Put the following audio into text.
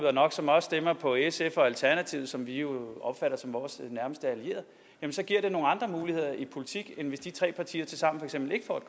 er nok som også stemmer på sf og alternativet som vi jo opfatter som vores nærmeste allierede så giver det nogle andre muligheder i politik end hvis de tre partier tilsammen